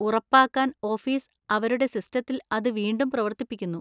ഉറപ്പാക്കാൻ ഓഫീസ് അവരുടെ സിസ്റ്റത്തിൽ അത് വീണ്ടും പ്രവർത്തിപ്പിക്കുന്നു.